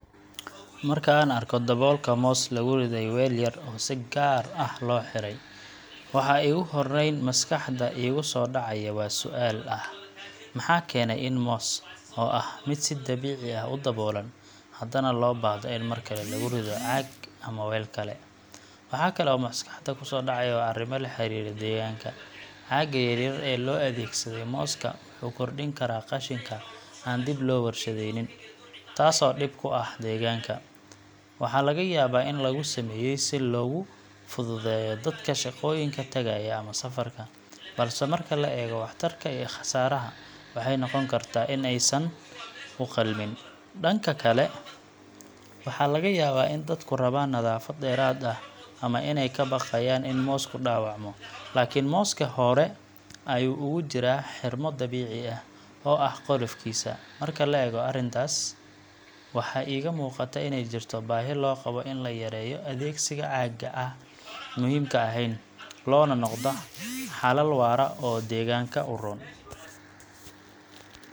Marka aan arko daboolka moos lagu riday weel yar oo si gaar ah loo xiray, waxa iigu horrayn maskaxda iiga soo dhacaya waa su’aal ah: maxaa keenay in moos, oo ah mid si dabiici ah u daboolan, haddana loo baahdo in mar kale lagu rido caag ama weel kale? Waxa kale oo maskaxda ku soo dhacaya waa arrimo la xiriira deegaanka. Caagga yaryar ee loo adeegsaday mooska wuxuu kordhin karaa qashinka aan dib loo warshadaynin, taasoo dhib ku ah deegaanka. Waxaa laga yaabaa in lagu sameeyay si loogu fududeeyo dadka shaqooyinka tagaya ama safarka, balse marka la eego waxtarka iyo khasaaraha, waxay noqon kartaa in aysan u qalmin. Dhanka kale, waxaa laga yaabaa in dadku rabaan nadaafad dheeraad ah ama inay ka baqayaan in moosku dhaawacmo, laakiin moosku hore ayuu ugu jiraa 'xirmo dabiici ah' oo ah qolofkiisa. Marka la eego arrintaas, waxaa iiga muuqata inay jirto baahi loo qabo in la yareeyo adeegsiga caagga aan muhiimka ahayn, loona noqdo xalal waara oo deegaanka u roon.